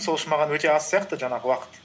сол үшін маған өте аз сияқты жаңағы уақыт